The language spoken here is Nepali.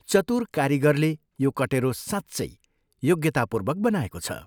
चतुर कारीगरले यो कटेरो साँच्चै योग्यतापूर्वक बनाएको छ।